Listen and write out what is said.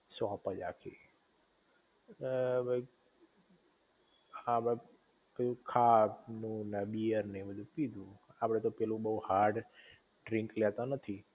shop જ આખી એ ભઇ ખાધું ને બીયર ને એવું બધુ પીધું આપડે પેલું બોવ હાર્ડ ડ્રિંક લેતા નથી